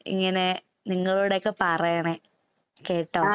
ഇങ്ങനെ നിങ്ങളോടൊക്കെ പറയണെ. കേട്ടോ.